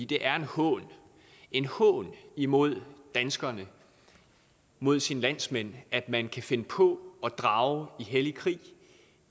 det er en hån en hån imod danskerne mod sine landsmænd at man kan finde på at drage i hellig krig